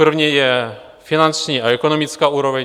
První je finanční a ekonomická úroveň.